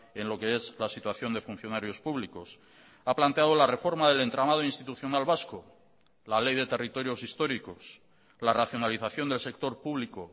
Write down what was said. en lo que es la situación de funcionarios públicos ha planteado la reforma del entramado institucional vasco la ley de territorios históricos la racionalización del sector público